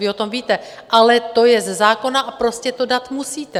Vy o tom víte, ale to je ze zákona a prostě to dát musíte.